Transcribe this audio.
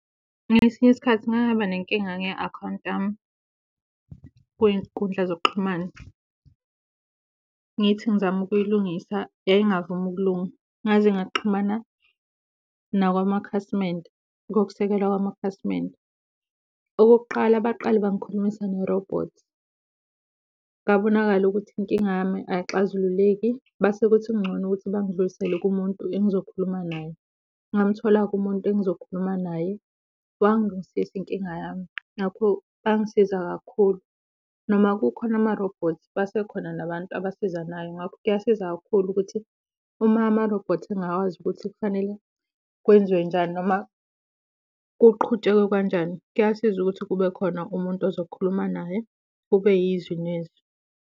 Ngesinye isikhathi ngake ngaba nenkinga nge-akhawunti yami kwiy'nkundla zokuxhumana ngithi ngizama ukuyilungisa yayingavumi ukulunga ngaze ngaxhumana nakwamakhasimende, okokusekelwa kwamakhasimende. Okokuqala baqale bangikhulumisa ne-robot, kwabonakala ukuthi inkinga yami ayixazululeki base kuthi kungcono ukuthi bangidluliselele kumuntu engizokhuluma naye. Ngamthola-ke umuntu engizokhuluma naye, wangilungisisa inkinga yami, ngakho wangisiza kakhulu. Noma kukhona ama-robots, basekhona nabantu abasizanayo. Ngakho kuyasiza kakhulu ukuthi uma ama-robot engakwazi ukuthi kufanele kwenziwe njani noma kuqhutshekwe kanjani, kuyasiza ukuthi kube khona umuntu ozokhuluma naye, kube yizwi nezwi.